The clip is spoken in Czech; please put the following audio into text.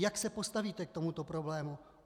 Jak se postavíte k tomuto problému?